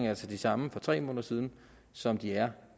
altså de samme for tre måneder siden som de er